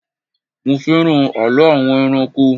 Mo fẹ́ràn àlọ́ àwọn ẹranko